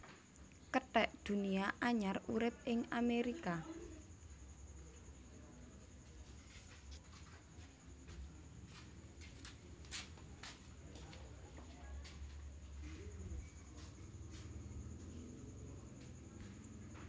Kethek Dunia anyar urip ing Amerika